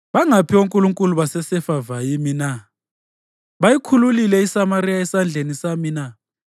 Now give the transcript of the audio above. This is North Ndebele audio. Bangaphi onkulunkulu baseHamathi le-Ariphadi na? Bangaphi onkulunkulu baseSefavayimi na? Bayikhululile iSamariya esandleni sami na?